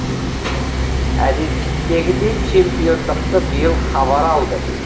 әдеттегідей чемпиондықты биыл хабар алды